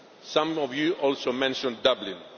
Some of you also mentioned Dublin.